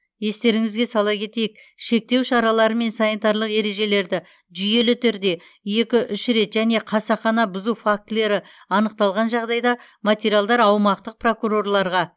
естеріңізге сала кетейік шектеу шаралары мен санитарлық ережелерді жүйелі түрде екі үш рет және қасақана бұзу фактілері анықталған жағдайда материалдар аумақтық прокурорларға